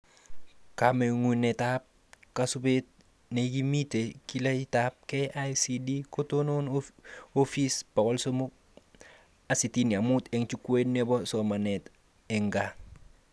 Kamagunetab kasubet neikimiti kiletab KICD koton Office365 eng jukwait nebo somanet eng gaa